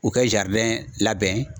U kɛ labɛn.